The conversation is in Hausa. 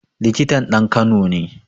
Likitan ɗan kano ne